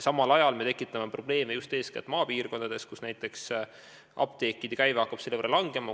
Samal ajal tekitame probleeme eeskätt maapiirkondades, kus näiteks apteekide käive hakkab selle võrra kahanema.